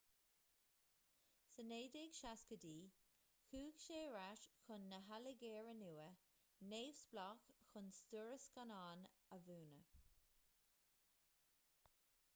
sna 1960idí chuaigh sé ar ais chun na hailgéire nua-neamhspleách chun stiúradh scannáin a mhúineadh